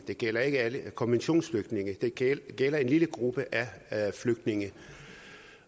det gælder jo ikke alle konventionsflygtninge det gælder en lille gruppe af flygtninge